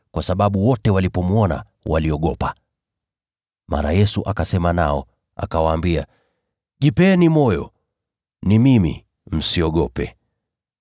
kwa sababu wote walipomwona waliogopa. Mara Yesu akasema nao, akawaambia, “Jipeni moyo! Ni mimi. Msiogope!”